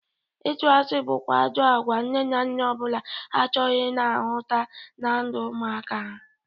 Ịtụ asị bụkwa ajọ agwa nne na nna ọ bụla achọghị ị na-ahụta na ndụ ụmụaka ha.